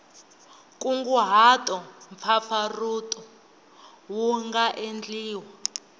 nkunguhato mpfapfarhuto wu nga endliwa